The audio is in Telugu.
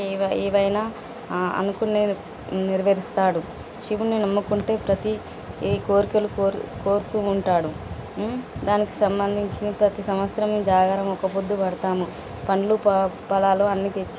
ఏవ ఏవైనా ఆ అనుకున్నవి నెరవేరుస్తాడు. శివుడిని నమ్ముకుంటే ప్రతి ఏ కోరికలు కోరు కోరుతూ ఉంటాడు. ఉమ్ దానికి సంబంధించిన ప్రతి సంవత్సరం జాగారం ఒక్కపొద్దు పడతాము పండ్లు ప ఫలాలు అన్ని తెచ్చి.